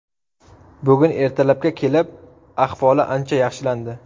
Bugun ertalabga kelib ahvoli ancha yaxshilandi.